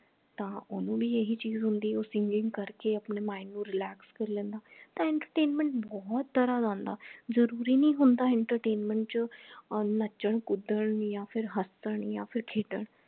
ਤਾਂ ਓਹਨੂੰ ਭੀ ਇਹੀ ਚੀਜ ਹੁੰਦੀ ਉਹ singing ਕਰਕੇ ਆਪਣੇ mind ਨੂੰ relax ਕੇ ਲੈਂਦਾ ਤਾਂ entertainment ਬਹੁਤ ਤਰਾਹ ਦਾ ਆਂਦਾ ਜਰੂਰੀ ਨਹੀਂ ਹੁੰਦਾ entertainment ਚ ਨੱਚਣ ਕੁੱਦਣ ਯਾ ਫੇਰ ਹਸਨ ਯਾ ਫੇਰ ਖੇਡਣ